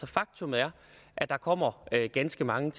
faktum er at der kommer ganske mange